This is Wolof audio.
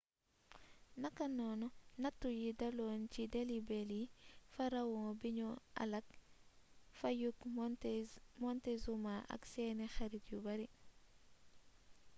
naka noonu nattu yi daloon ci delhi belly pharaon bi ñu alak fayyug montezuma ak seeni xarit yu bari